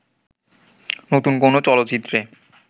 নতুন কোন চলচ্চিত্রে